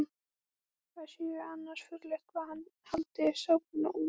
Það sé annars furðulegt hvað hann haldi sápuna út.